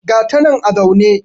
ga ta nan a zaune